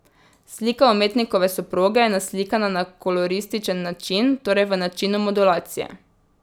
Slika umetnikove soproge je naslikana na kolorističen način, torej v načinu modulacije.